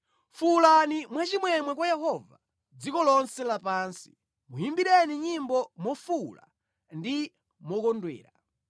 Fuwulani mwachimwemwe kwa Yehova, dziko lonse lapansi, muyimbireni nyimbo mofuwula ndi mokondwera.